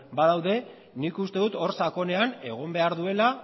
badaude nik uste dut hor sakonean egon behar duela